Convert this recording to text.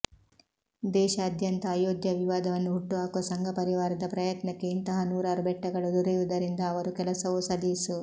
ದೇಶಾದ್ಯಂತ ಅಯೋಧ್ಯಾ ವಿವಾದವನ್ನು ಹುಟ್ಟುಹಾಕುವ ಸಂಘಪರಿವಾರದ ಪ್ರಯತ್ನಕ್ಕೆ ಇಂತಹ ನೂರಾರು ಬೆಟ್ಟಗಳು ದೊರೆಯುವುದರಿಂದ ಅವರ ಕೆಲಸವೂ ಸಲೀಸು